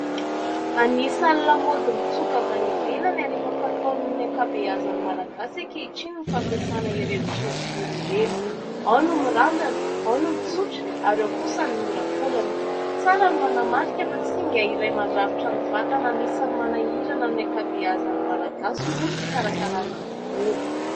Anisan'ny lamaody mitsoka avy any ivelany ary efa fataon'ny ankabeazan'ny Malagasy ankehitriny ny fampiasana ireny solovolo ireny : ao ny mirandrana, ao no mitsotra ary ao kosa ny miolakolana. Tsara ny manamarika fa singa iray mandrafitra ny vatana anisan'ny manahirana ny ankabeazan'ny Malagasy moa ny fikarakarana ny volo.